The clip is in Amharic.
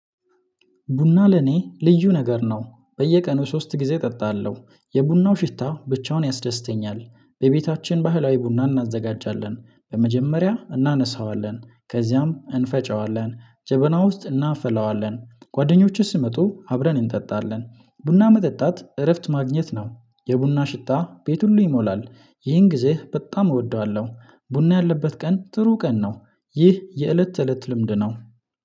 ቡና ለኔ ልዩ ነገር ነው። በየቀኑ ሶስት ጊዜ እጠጣለሁ። የቡናው ሽታ ብቻውን ያስደስተኛል። በቤታችን ባህላዊ ቡና እናዘጋጃለን። በመጀመሪያ እናነሳዋለን። ከዚያም እንፈጨዋለን። ጀበና ውስጥ እናፈላዋለን። ጓደኞቼ ሲመጡ አብረን እንጠጣለን። ቡና መጠጣት እረፍት ማግኘት ነው። የቡና ሽጣ ቤትን ይሞላል። ይህን ጊዜ በጣም እወደዋለሁ ቡና ያለበት ቀን ጥሩ ቀን ነው። ይህ የእለት ተእለት ልምድ ነው።